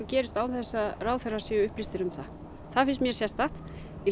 gerist án þess að ráðherrar séu upplýstir um það það finnst mér sérstakt